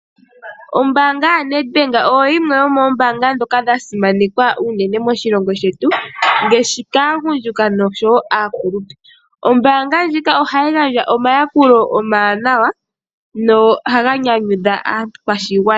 Ombaanga yaNedbank oyo yimwe yoomoombanga ndhoka dhasimanekwa unene moshilongo shetu, ngaashi kaagundjuka, noshowo aakulupe. Ombaanga ndjika ohayi gandja omayakulo omawanawa, nohaga nyanyudha aakwashigwana.